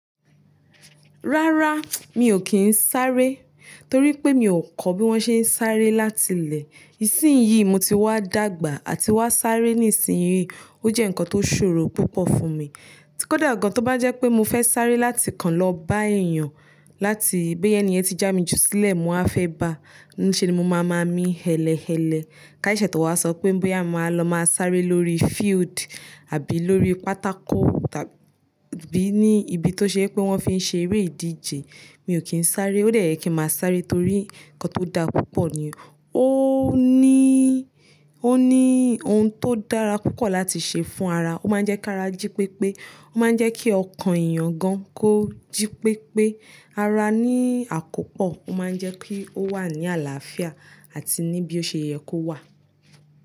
Rárá, mi ò kí ń sáré torí pé mi ò kọ́ bí wọ́n ṣe ń sáré láti ilẹ̀. Ìsìn yìí mo ti wá dàgbà àti wá sáré ní ìsìn yìí, ó jẹ́ ǹkan tó ṣòro púpọ̀ fún mi. Tí kódà gan-an tó bá jẹ́ pé mo fẹ́ sáré láti kan lọ bá èèyàn, láti bí ẹni ẹni yẹn ti já mi jù sílẹ̀ mo á fẹ́ bá, ní ṣe ni mo máa máa mí hẹ̀lẹ̀hẹ̀lẹ̀. Ká sẹ́sé tó wá sọ pé bí à máa lọ máa sáré lórí field àbí lórí pátákò tàbí ní ibi tó ṣe pé wọ́n fi ń ṣe eré ìdíje, mi ò kí ń sáré. Ó dẹ̀ ye kí máa sáré torí ǹkan tó dá púpọ̀ nìyẹn. Ó ní, ó ní ohun tó dára púpọ̀ láti ṣe fún ara. Ó máa ń jẹ́ kí ara jí pépé. Ó máa ń jẹ́ kí ọkàn èèyàn gan kó jí pépé. Ara ní àkópọ̀, ó máa ń jẹ́ pé ó wà ní àlàáfíà àti níbí ó ṣe yẹ kó wà.